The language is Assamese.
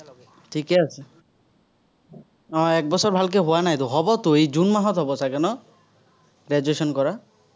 ঠিকেই আছে। আহ একবছৰ ভালকে হোৱা নাইতো, হ'বতো, এই জুন মাহত হ'ব চাগে ন। graduation কৰা।